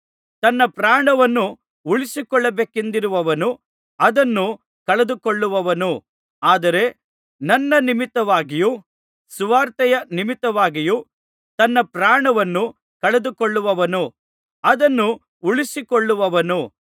ತನ್ನ ಪ್ರಾಣವನ್ನು ಉಳಿಸಿಕೊಳ್ಳಬೇಕೆಂದಿರುವವನು ಅದನ್ನು ಕಳೆದುಕೊಳ್ಳುವನು ಆದರೆ ನನ್ನ ನಿಮಿತ್ತವಾಗಿಯೂ ಸುವಾರ್ತೆಯ ನಿಮಿತ್ತವಾಗಿಯೂ ತನ್ನ ಪ್ರಾಣವನ್ನು ಕಳೆದುಕೊಳ್ಳುವವನು ಅದನ್ನು ಉಳಿಸಿಕೊಳ್ಳುವನು